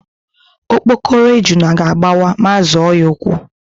Okpokoro ejuna ga-agbawa ma a zọọ ya ụ́kwụ́.